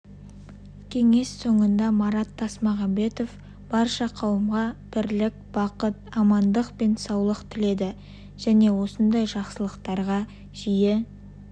кеңес соңында марат тасмағанбетов барша қауымға бірлік бақыт амандық пен саулық тіледі және осындай жақсылықтарға жиі